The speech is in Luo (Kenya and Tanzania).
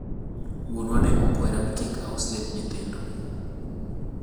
wuonwa ne okwera ni kik aus lep nyithindo